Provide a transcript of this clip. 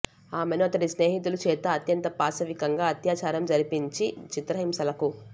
ఆమెను అతడి స్నేహితుల చేత అత్యంత పాశవికంగా అత్యాచారం జరిపించి చిత్రహింసలకు